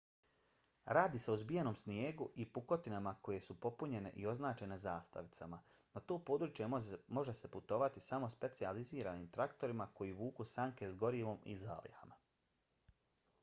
radi se o zbijenom snijegu i pukotinama koje su popunjene i označene zastavicama. na to područje može se putovati samo specijaliziranim traktorima koji vuku sanke s gorivom i zalihama